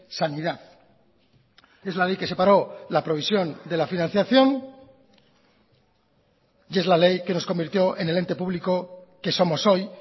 sanidad es la ley que separó la provisión de la financiación y es la ley que nos convirtió en el ente público que somos hoy